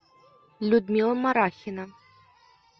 людмила марахина